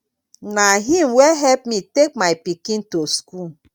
na him wey help me take my pikin to school